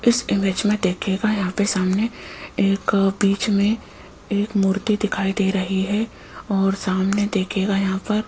इस इमेज में देखिएगा यहां पे सामने एक बीच में एक मूर्ति दिखाई दे रही है और सामने देखिएगा यहां पर --